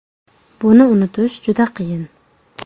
Buni unutish juda qiyin.